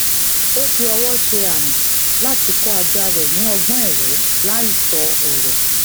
ó fi ọwọ se àmì láti kó ajá rè ní ọgbón èwé láì sọ ọrọ